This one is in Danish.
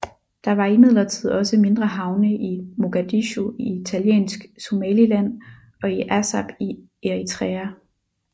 Der var imidlertid også mindre havne i Mogadishu i Italiensk Somaliland og i Assab i Eritrea